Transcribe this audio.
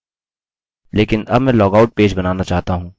लेकिन अब मैं लॉगआउट पेज बनाना चाहता हूँ